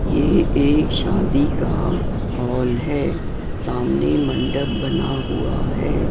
ये एक शादी का हॉल है सामने मंडप बना हुआ है।